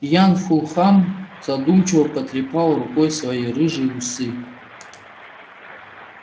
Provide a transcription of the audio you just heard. ян фулхам задумчиво потрепал рукой свои рыжие усы